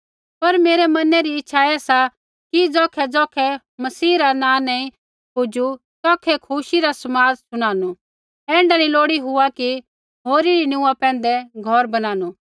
पर मेरै मना री इच्छा ऐ सा कि ज़ौखैज़ौखै मसीह रा नाँ नैंई पुजू तौखै खुशी रा समाद शुणानु ऐण्ढा नी हुआ लोड़ी कि होरी री नीऊँआ पैंधै घौर बणानू